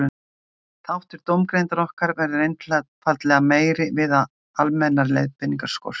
Þáttur dómgreindar okkar verður einfaldlega meiri við að almennar leiðbeiningar skortir.